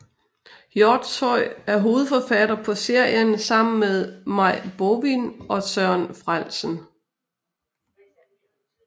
Hjortshøj er hovedforfatter på serien sammen med Maj Bovin og Søren Frellesen